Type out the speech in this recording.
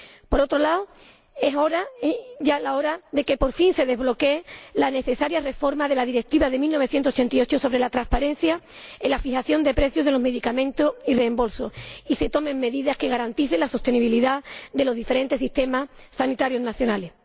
Por otro lado, es ya hora de que, por fin, se desbloquee la necesaria reforma de la Directiva de 1988 sobre la transparencia en la fijación de precios de los medicamentos y su reembolso, y se tomen medidas que garanticen la sostenibilidad de los diferentes sistemas sanitarios nacionales.